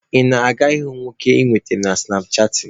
Ị na-aga ịhụ nwoke ị nwetara site na sụnapchaatịn?